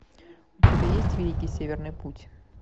у тебя есть великий северный путь